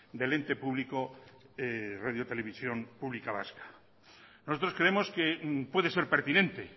del ente público radio televisión pública vasca nosotros creemos que puede ser pertinente